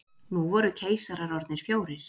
Nú voru keisarar orðnir fjórir.